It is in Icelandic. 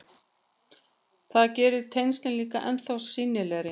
Það gerir tengslin líka ennþá sýnilegri.